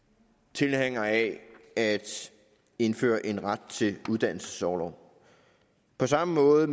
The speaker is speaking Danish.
tilhængere af at indføre en ret til uddannelsesorlov på samme måde